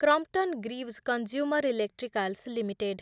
Crompton Greaves Consumer Electricals limited